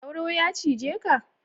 Sauro ya cije ka?